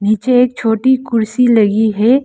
नीचे एक छोटी कुर्सी लगी है।